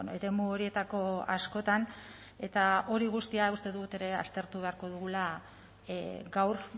eremu horietako askotan eta hori guztia uste dut ere aztertu beharko dugula gaur